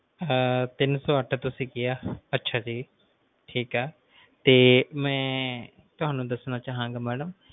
ਟੀਨ ਸੌ ਅੱਠ ਤੁਸੀਂ ਕਿਹਾ ਅੱਛਾ ਜੀ ਠੇਕ ਏ ਤੇ ਮਈ ਤੁਹਾਨੂੰ ਦੱਸਣਾ ਚਾਹਾਂਗਾ ਮੈਡਮ